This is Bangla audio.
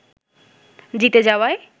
জিতে যাওয়ায়